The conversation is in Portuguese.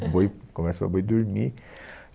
Boi conversa para boi dormir.